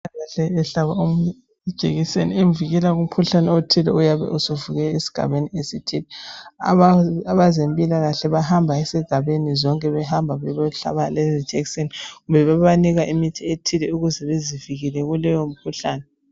Udokotela uhlaba omunye ijekiseni emvikela kumkhuhlane othile oyabe usuvukile esigabeni. Abantu abezempilakahle bahamba ezigabeni zonke bebahlaba kumbe bebanika imithi ethile ukuze bezivikele kuleyo mkhuhlane.